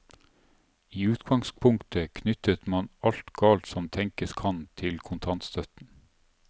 I utgangspunktet knyttet man alt galt som tenkes kan til kontantstøtten.